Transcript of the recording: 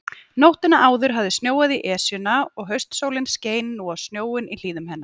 Nóttina áður hafði snjóað í Esjuna, og haustsólin skein nú á snjóinn í hlíðum hennar.